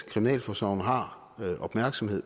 kriminalforsorgen har opmærksomhed